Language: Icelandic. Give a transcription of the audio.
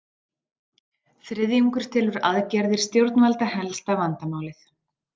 Þriðjungur telur aðgerðir stjórnvalda helsta vandamálið